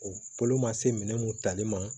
O bolo ma se minɛ mun tali ma